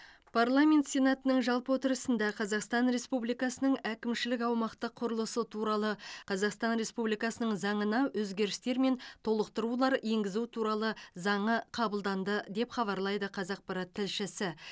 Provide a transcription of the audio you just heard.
парламент сенатының жалпы отырысында қазақстан республикасының әкімшілік аумақтық құрылысы туралы қазақстан республикасының заңына өзгерістер мен толықтырулар енгізу туралы заңы қабылданды деп хабарлайды қазақпарат тілшісі